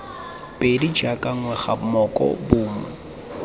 pedi jaaka ngwega moko bomo